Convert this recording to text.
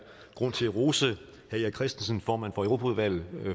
grund til at rose herre erik christensen formand for europaudvalget